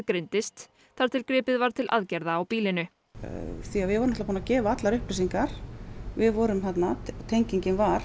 greindist þar til gripið var til aðgerða á býlinu því að við vorum búnar að gefa allar upplýsingar við vorum þarna tengingin var